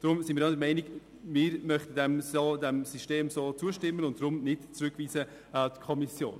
Deshalb stimmen wir diesem System zu und sind gegen die Rückweisung in die Kommission.